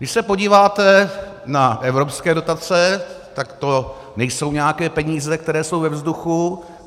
Když se podíváte na evropské dotace, tak to nejsou nějaké peníze, které jsou ve vzduchu.